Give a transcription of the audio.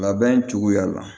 Labɛn cogoya la